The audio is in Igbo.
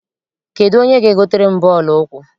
Kedụ onye ga- egotere m bọọlụ ụkwụ?